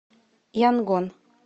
янгон